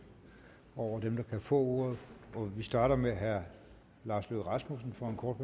over dem der kan få ordet og vi starter med herre lars løkke rasmussen for en kort